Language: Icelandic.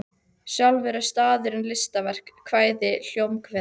Sjálfur er staðurinn listaverk, kvæði, hljómkviða.